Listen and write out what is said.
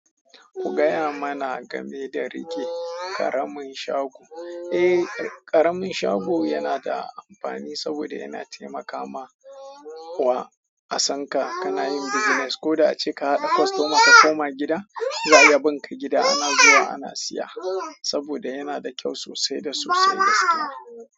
Ku gaya mana game da rike ƙaramin shago. Eh, ƙaramin shago yana da amfani saboda yana taimakawa a san ka ka na yin business. Ko da ace ka haɗa kwastoma ka koma gida, za ya bun ka gida ana zuwa ana siya saboda yana da kyau sosai da sosai gaskiya.